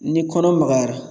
Ni kɔnɔ magayara